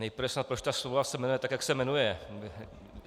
Nejprve snad proč ta smlouva se jmenuje tak, jak se jmenuje.